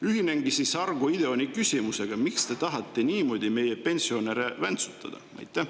Ühinengi Argo Ideoni küsimusega: miks te tahate meie pensionäre niimoodi väntsutada?